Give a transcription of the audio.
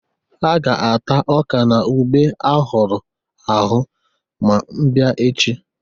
Ha ga-ata ọka na ube a hụrụ ahụ ma bịa echi.